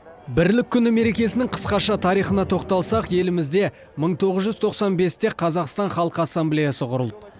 бірлік күні мерекесінің қысқаша тарихына тоқталсақ елімізде мың тоғыз жүз тоқсан бесте қазақстан халқы ассамблеясы құрылды